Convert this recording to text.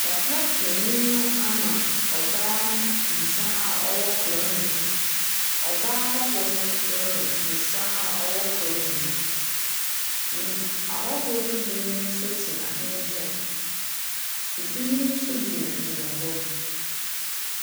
Papa penyin no ama ɔbaa no nsa a ɔwɔ kora no mu. Ɔbaa hɔho no frenom nsa a ɔwɔ kora no mu. Mmm ahɔho no bi nso tena ne nkyɛn. Ibinom nso gyinagyina hɔ.